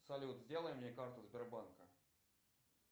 салют сделай мне карту сбербанка